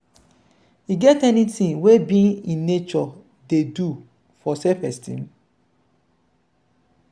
e get any thing wey being in nature dey do to your self-esteem?